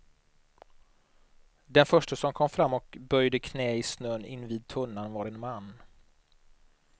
Den förste som kom fram och böjde knä i snön invid tunnan var en man.